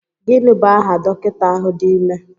Gịnị bụ aha dọkịta ahụ dị ime?